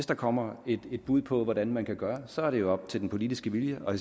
det kommer et bud på hvordan man kan gøre så er det jo op til den politiske vilje og